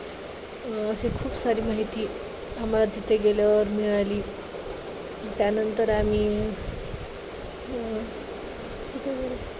अं अशी खूप सारी माहिती आम्हाला तिथे गेल्यावर मिळाली. त्यानंतर आम्ही अं तिथे